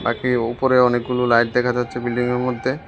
ওপরে অনেকগুলো লাইট দেখা যাচ্ছে বিল্ডিংয়ের মধ্যে।